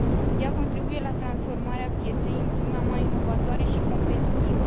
Ea contribuie la transformarea pieței într una mai inovatoare și competitivă.